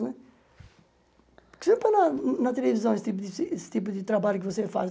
Né por que você não põe na na televisão esse tipo de esse tipo de trabalho que você faz?